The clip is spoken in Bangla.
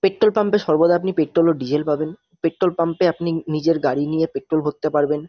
পেট্রল পাম্পে সর্বদা আপনি পেট্রল ও ডিজেল পাবেন। পেট্রল পাম্পে আপনি নিজের গাড়ি নিয়ে পেট্রল ভরতে পারবেন।